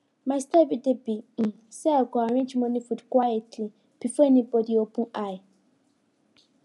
my style everyday be um say i go arrange morning food quietly before anybody open eye